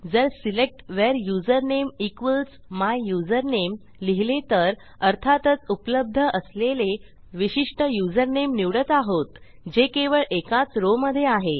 जर select where username equals my usernameलिहिले तर अर्थातच उपलब्ध असलेले विशिष्ट युजरनेम निवडत आहोत जे केवळ एकाच रॉव मधे आहे